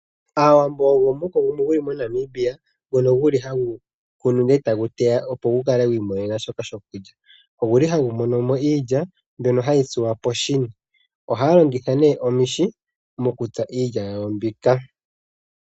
Aawambo omuhoko gumwe guli moNamibia ngono guli hagu kunu ndele eta gu teya opo gukale gwiimonenasha shoku lya. Oguli hagu mono iilya mbyono hayi tsuwa koshini. ohaya longitha nee omihi okutsa iilya ya wo mbyoka.